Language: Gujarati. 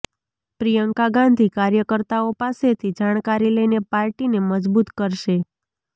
પ્રિયંકા ગાંધી કાર્યકર્તાઓ પાસેથી જાણકારી લઇને પાર્ટીને મજબૂત કરશે